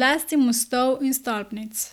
zlasti mostov in stolpnic.